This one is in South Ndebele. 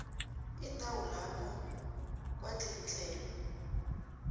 indawo lapho kwatlikitlelwa